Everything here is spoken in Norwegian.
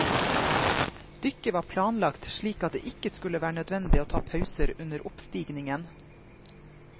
Dykket var planlagt slik at det ikke skulle være nødvendig å ta pauser under oppstigningen.